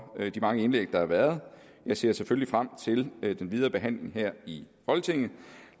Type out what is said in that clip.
de mange indlæg der har været jeg ser selvfølgelig frem til den videre behandling her i folketinget